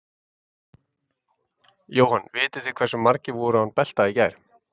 Jóhann: Vitið þið hversu margir voru án belta í gær?